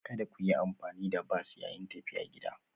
Kada ku yi amfani da bas yayin tafiya gida.